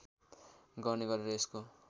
गर्ने गरेर यसको